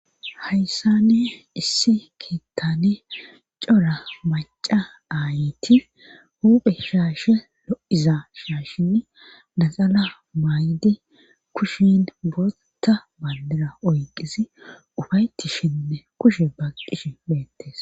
Hayssani issi keettane cora maca aayiti huphe shaashe lo'iza shaashinn naxala maay'di kushin botta balira oyqisi ufaytishinne kushe baqqish meettes.